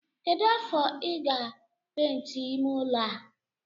Kedu afọ ka I ga penti ime ụlọ a?